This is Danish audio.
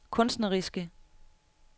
kunstneriske